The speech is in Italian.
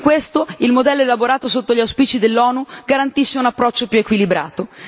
In questo, il modello elaborato sotto gli auspici dell'ONU garantisce un approccio più equilibrato.